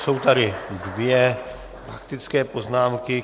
Jsou tady dvě faktické poznámky.